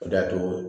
O de y'a to